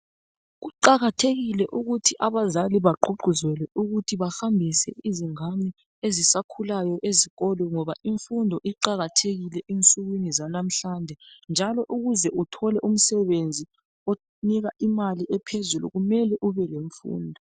Kuqakathekile ukuthi abazali bagqugquzelwe ukuthi bahambise izingane ezisakhulayo ezikolo ngoba imfundo iqakathekile ezinsukwini zanamhlanje njalo ukuze uthole umsebenzi onika imali ephezulu kumele ube lemfundo.